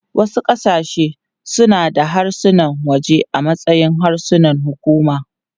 Wasu ƙasashe suna da harsunan waje a matsayin harsunan hukuma.